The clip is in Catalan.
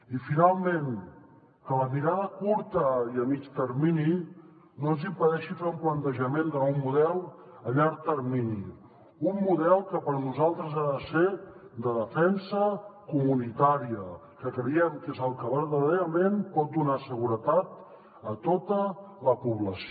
i finalment que la mirada curta i a mitjà termini no ens impedeixi fer un plantejament de nou model a llarg termini un model que per nosaltres ha de ser de defensa comunitària que creiem que és el que verdaderament pot donar seguretat a tota la població